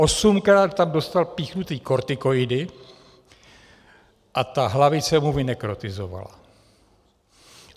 Osmkrát tam dostal píchnuty kortikoidy a ta hlavice mu vynekrotizovala.